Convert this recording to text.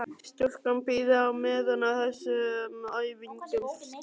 Stúlkan bíður á meðan á þessum æfingum stendur.